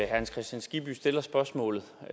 hans kristian skibby stiller spørgsmålet og